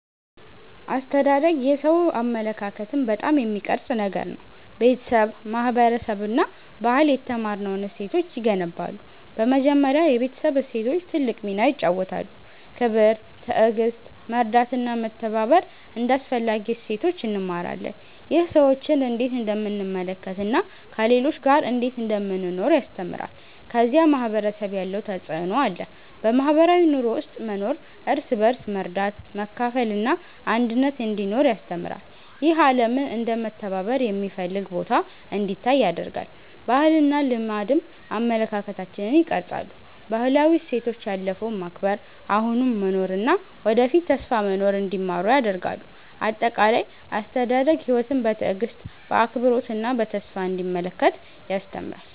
አስተዳደግ የሰው አመለካከትን በጣም የሚቀርጽ ነገር ነው። ቤተሰብ፣ ማህበረሰብ እና ባህል የተማርነውን እሴቶች ይገነባሉ። በመጀመሪያ የቤተሰብ እሴቶች ትልቅ ሚና ይጫወታሉ። ክብር፣ ትዕግሥት፣ መርዳት እና መተባበር እንደ አስፈላጊ እሴቶች እንማራለን። ይህ ሰዎችን እንዴት እንደምንመለከት እና ከሌሎች ጋር እንዴት እንደምንኖር ያስተምራል። ከዚያ ማህበረሰብ ያለው ተፅዕኖ አለ። በማህበራዊ ኑሮ ውስጥ መኖር እርስ በርስ መርዳት፣ መካፈል እና አንድነት እንዲኖር ያስተምራል። ይህ ዓለምን እንደ መተባበር የሚፈልግ ቦታ እንዲታይ ያደርጋል። ባህልና ልማድም አመለካከታችንን ይቀርጻሉ። ባህላዊ እሴቶች ያለፈውን መከብር፣ አሁኑን መኖር እና ወደፊት ተስፋ መኖር እንዲማሩ ያደርጋሉ። አጠቃላይ፣ አስተዳደግ ሕይወትን በትዕግሥት፣ በአክብሮት እና በተስፋ እንዲመለከት ያስተምራል።